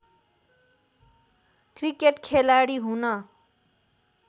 cricket खेलाडी हुन